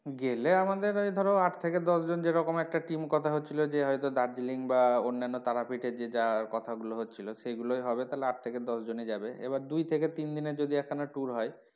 গেলে আমাদের এই ধরো আট থেকে দশ জন যেরকম একটা team কথা হচ্ছিলো যে হয়তো দার্জিলিং বা অন্যান্য তারাপীঠ এর যে যা কথাগুলো হচ্ছিলো সেগুলোই হবে তাহলে আট থেকে দশ জন ই যাবে এবার দুই থেকে দিনের যদি এক খানা tour হয়,